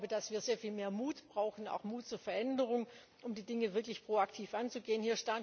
Ich glaube, dass wir sehr viel mehr Mut brauchen, auch Mut zur Veränderung, um die Dinge wirklich proaktiv anzugehen.